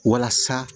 Walasa